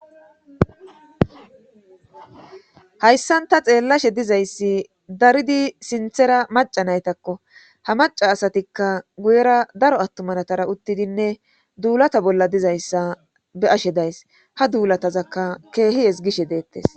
hayssanta xeellashe dizayssi daridi sinthera maca naytakko ha maca asatikka guyera daro attumanatara uttidinne duulata bolla dizayssa be ashe days ha duulatazakka keehihes gishe deettes